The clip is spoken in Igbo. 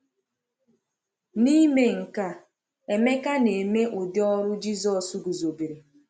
N’ime nke a, Emeka na-eme ụdị ọrụ Jisọs guzobere.